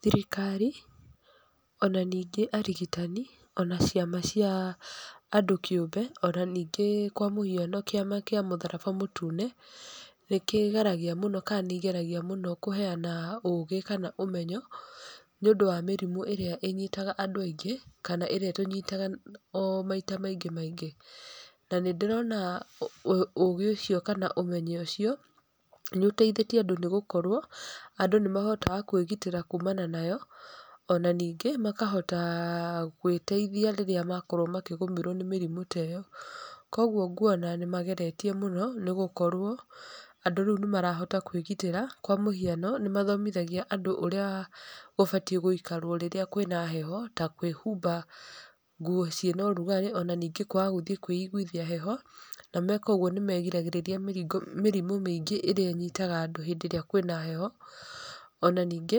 Thirikari, ona ningĩ arigitani, ona ciama cia andũ kĩũmbe, ona ningĩ kwa mũhiano kĩama kĩa mũtharaba mũtune, nĩ kĩgeragia mũno kana nĩ igeragia mũno kũheana ũgĩ kana ũmenyo, nĩ ũndũ wa mĩrimũ ĩrĩa inyitaga andũ aingĩ, kana ĩrĩa ĩtũnyitaga o maita maingĩ maingĩ. Na nĩ ndĩrona ũgĩ ũcio kana ũmenyo ũcio, nĩ ũteithĩtie andũ nĩ gũkorwo, andũ nĩ mahotaga kwĩgitĩra kumana nayo, ona ningĩ, makahota gwĩteithia rĩrĩa makorwo makĩgũmĩrwo nĩ mĩrimũ ta ĩyo. Kũguo nguona nĩ mageretie mũno, nĩ gũkorwo, andũ rĩu nĩ marahota kwĩgitĩra. Kwa mũhiano, nĩ mathomithagia andũ ũrĩa ũbatiĩ gũikarwo rĩrĩa kwĩna heho, ta kwĩhumba nguo ciĩna ũrugarĩ, ona ningĩ kwaga gũthiĩ kũĩguithia heho. Na meka ũguo nĩ megiragĩrĩria mĩhingo mĩrimũ mĩingĩ ĩrĩa ĩnyitaga andũ hĩndĩ ĩrĩa kwĩna heho. Ona ningĩ,